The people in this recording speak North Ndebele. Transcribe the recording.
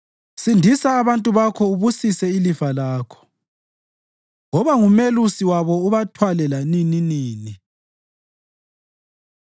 Sindisa abantu Bakho ubusise ilifa lakho; woba ngumelusi wabo ubathwale lanininini.